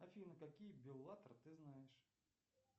афина какие беллатор ты знаешь